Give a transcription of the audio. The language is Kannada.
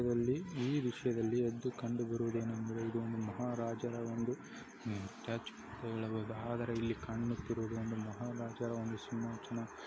ಇವಲ್ಲಿ ಈ ದೃಶ್ಯದಲ್ಲಿ ಎದ್ದು ಕಂಡು ಬರುವುದು ಏನೆಂದರೆ ಇದು ಒಂದು ಮಹಾರಾಜರ ಒಂದು ಆದರೆ ಇಲ್ಲಿ ಕಾಣುತ್ತಿರುವುದು ಒಂದು ಮಹಾರಾಜರ ಒಂದು ಸಿಂಹಾಸನ.